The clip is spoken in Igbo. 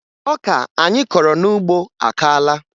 Ọka anyị kọrọ n'ugbo akaala